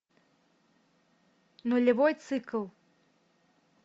нулевой цикл